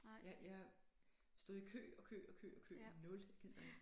Jeg jeg stod i kø og kø og kø og kø nul jeg gider ikke